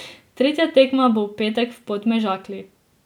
Tretja tekma bo v petek v Podmežakli.